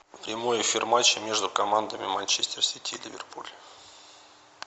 прямой эфир матча между командами манчестер сити ливерпуль